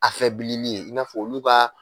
Afɛbilili ye i n'a fɔ olu ka